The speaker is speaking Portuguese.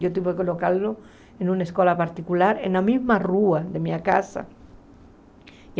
Eu tive que colocá-lo em uma escola particular na mesma rua da minha casa.